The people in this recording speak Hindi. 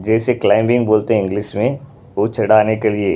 जैसे क्लाइबिंग बोलते हैं इंग्लिश में वो चढ़ाने के लिए--